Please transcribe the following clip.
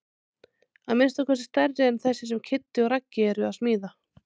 Að minnsta kosti stærri en þessi sem Kiddi og Raggi eru að smíða.